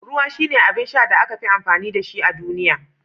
Ruwa shine abin sha da aka fi amfani da shi a duniya